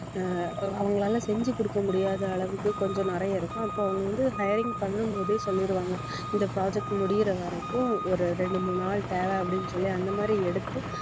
அஹ் அவங்களால செஞ்சு குடுக்க முடியாத அளவுக்கு கொஞ்சம் நிறைய இருக்கும் அப்ப அவங்க வந்து hiring பண்ணும் போதே சொல்லிடுவாங்க இந்த project முடியற வரைக்கும் ஒரு இரண்டு மூணு நாள் தேவை அப்படின்னு சொல்லி அந்த மாதிரி எடுத்து